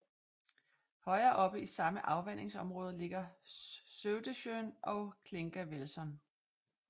Højere oppe i samme afvandingsområde ligger Sövdesjön og Klingavälsån